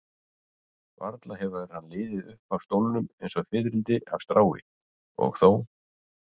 Varla hefur hann liðið upp af stólnum eins og fiðrildi af strái, og þó.